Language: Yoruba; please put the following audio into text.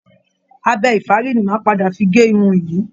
Abẹ ìfárí ni màá padà fi gé irun yìí